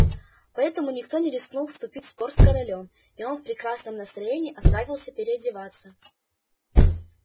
поэтому никто не рискнул вступить в спор с королём и он в прекрасном настроении отправился переодеваться